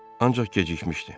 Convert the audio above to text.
Ancaq gecikmişdi.